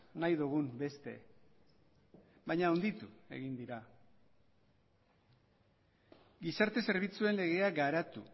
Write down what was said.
nahi dugun beste baina handitu egin dira gizarte zerbitzuen legea garatu